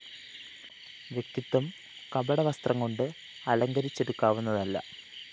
വ്യക്തിത്വം കപട വസ്ത്രംകൊണ്ട് അലങ്കരിച്ചെടുക്കാവുന്നതല്ല